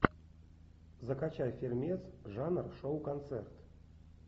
закачай фильмец жанр шоу концерт